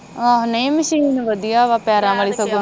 ਆਹ ਨਹੀਂ ਮਸ਼ੀਨ ਵਧਿਆ ਵਾ ਪੈਰਾਂ ਵਾਲੀ